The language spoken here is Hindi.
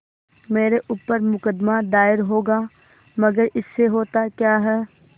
मेरे ऊपर मुकदमा दायर होगा मगर इससे होता क्या है